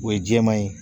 O ye jɛman ye